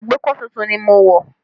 Agbékọ̀ tuntun ni mo wọ̀